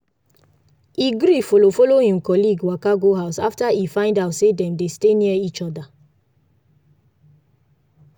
e gree follow follow him colleague waka go house after e find out say dem dey stay near each other.